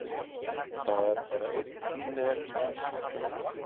Það er bara einn tími eftir.